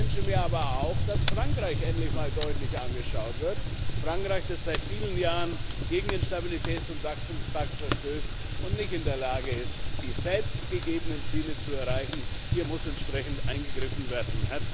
Ich wünsche mir aber auch, dass Frankreich endlich mal deutlich angeschaut wird Frankreich, das seit vielen Jahren gegen den Stabilitäts und Wachstumspakt verstößt und nicht in der Lage ist, die selbstgegebenen Ziele zu erreichen. Hier muss entsprechend eingegriffen werden.